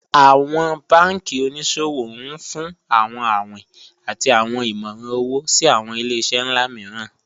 Awọn banki oníṣòwò n fún awọn awìn àti awọn ìmọ̀ran owo sí awọn ilẹ̀-iṣẹ̀ nlá mììràn